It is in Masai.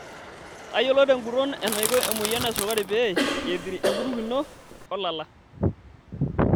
Tayiolo tenguton enaiko emoyian esukari pee eathiri enkutuk ino olala.